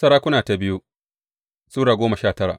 biyu Tarihi Sura goma sha tara